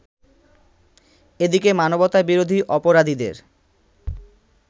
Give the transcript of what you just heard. এদিকে মানবতাবিরোধী অপরাধীদের